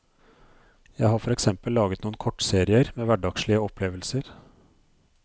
Jeg har for eksempel laget noen kortserier med hverdagslige opplevelser.